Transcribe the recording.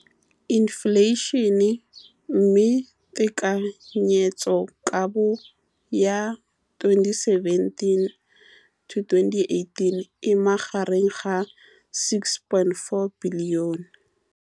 Infleišene, mme tekanyetsokabo ya 2017, 18, e magareng ga R6.4 bilione.